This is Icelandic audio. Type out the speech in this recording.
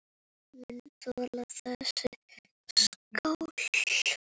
Ég mun þola þessa skál.